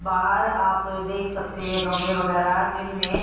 बाहर आप देख सकते हैं गमले वगैराह जिनमें--